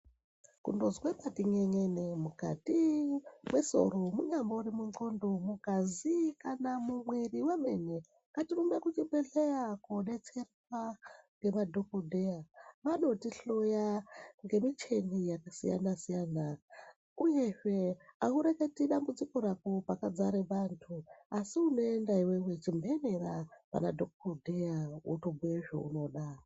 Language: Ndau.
Kundozwa pati n'en'enei mwukati mwesoro munyambori mundxondo, mungazi kana mumwiri wemene ngatirumbe kuzvibhedhleya kodetserwa ngemadhokodheya. Anotihloya ngemicheni yakasiyana siyana, uyezve haureketi dambudziko rako pakadzare vantu asi unoenda iwewe chimhenera panadhokodheya wotobhuye zvaunoda.